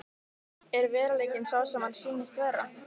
Er veruleikinn sá sem hann sýnist vera?